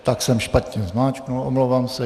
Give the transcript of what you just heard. Tak jsem špatně zmáčkl, omlouvám se.